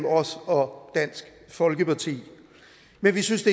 os og dansk folkeparti men vi synes